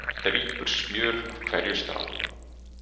Það drýpur smjör af hverju strái